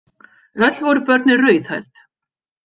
Öll voru börnin rauðhærð.